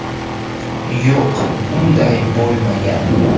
Yo‘q, unday bo‘lmagan.